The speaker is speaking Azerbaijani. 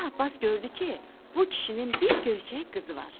Şah Abbas gördü ki, bu kişinin bir göyçək qızı var.